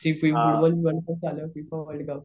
FIFA world cup